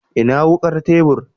Ina wukar tebur?